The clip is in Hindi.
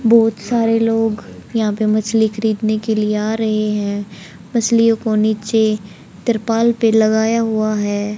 बहुत सारे लोग यहां पे मछली खरीदने के लिए आ रहे हैं मछलियों को नीचे त्रिपाल पर लगाया हुआ है।